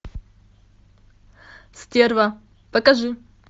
стерва покажи